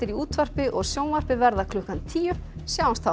útvarpi og sjónvarpi verða klukkan tíu sjáumst þá